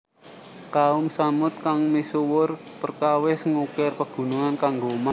Kaum Tsamud kang misuwur perkawis ngukir pegunungan kanggo omah